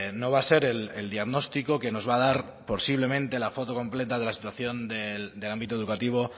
no va a ser el diagnóstico que nos va a dar posiblemente la foto completa de la situación del ámbito educativo